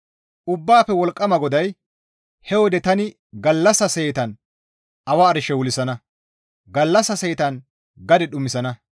Ubbaafe Wolqqama GODAY, «He wode tani gallassa seetan awa arshe wulsana; gallassa seetan gade dhumisana.